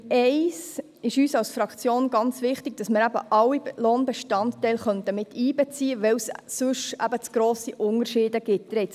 Bei diesem Punkt ist uns als Fraktion ganz wichtig, alle Lohnbestandteile miteinzubeziehen, weil es sonst zu grosse Unterschiede geben würde.